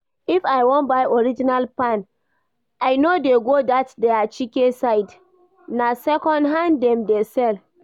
If I wan buy original fan, I no dey go that their Chike side, na second-hand dem dey sell